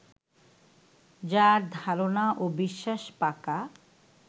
যাঁর ধারণা ও বিশ্বাস পাকা